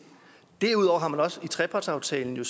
derudover har man så også i trepartsaftalen